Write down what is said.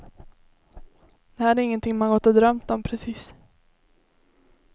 Det här är ingenting man gått och drömt om precis.